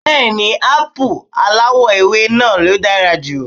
Bẹ́ẹ̀ni Ápù aláwọ̀ ewé náà ló dára jù